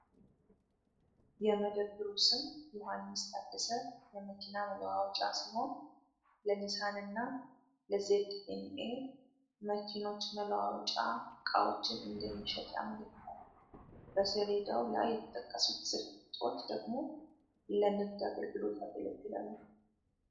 የመደብሩ ስም "ዮሐንስ ታደሰ የመኪና መለዋወጫ" ሲሆን ፣ ለኒሳን እና ዜድኤንኤ መኪኖች መለዋወጫ ዕቃዎችን እንደሚሸጥ ያመለክታል ። በሰሌዳው ላይ የተጠቀሱት ስልክ ቁጥሮች ደግሞ ለንግድ አገልግሎት ያገለግላሉ ።